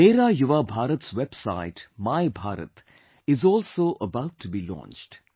Mera Yuva Bharat's website My Bharat is also about to be launched